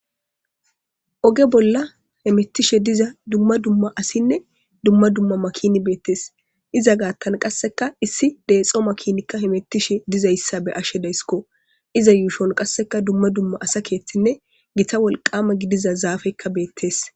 Oge bolla hemettishe diza dumma dumma asinne dumma dumma makini beettes iza gaattan qasseka issi deexo makinikka hemettishe dizayssa be ashe deysiko iza yuushon qasseka dumma dumma asa keethinne gita wolqama gidiza zaafeyika betes